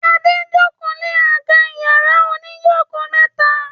Ade ń joko lẹ àga iyàrá òní joko mẹta.